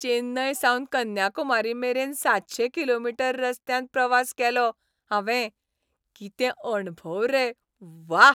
चेन्नय सावन कन्याकुमारी मेरेन सातशे किलोमीटर रस्त्यान प्रवास केलो हांवें. कितें अणभव रे, व्वा.